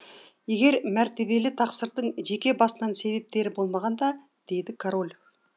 егер мәртебелі тақсырдың жеке басынын себептері болмағанда деді король